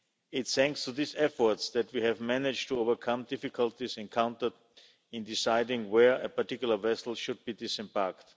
It is thanks to these efforts that we have managed to overcome difficulties encountered in deciding where a particular vessel should be disembarked.